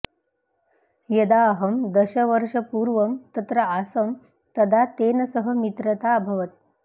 यदा अहं दशवर्षपूर्वं तत्र आसम् तदा तेन सह मित्रता अभवत्